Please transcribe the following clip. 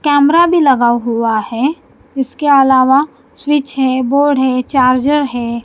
Camera भी लगा हुआ है इसके अलावा स्विच है बोर्ड है चार्जर है।